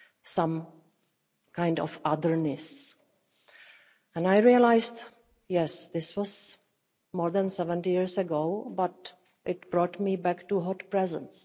some kind of otherness'. And I realised that, yes, this was more than 70 years ago, but it brought me back to the immediate present.